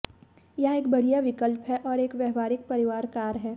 यह एक बढ़िया विकल्प है और एक व्यावहारिक परिवार कार है